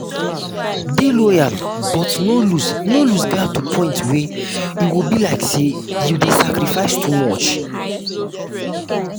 dey loyal but no loose no loose guard to point wey e go be like sey you dey sacrifice too much